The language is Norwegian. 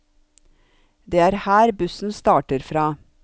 Det er her bussen starter fra.